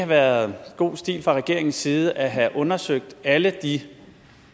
været god stil fra regeringens side at have undersøgt alle de